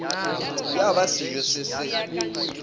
ya ba sejo se se